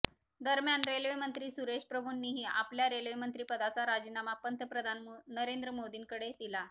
दरम्यान रेल्वेमंत्री सुरेश प्रभूंनीही आपल्या रेल्वेमंत्री पदाचा राजिनामा पंतप्रधान नरेंद्र मोदींकडे दिला